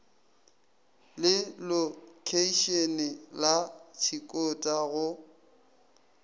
le lokheišene la tshikota go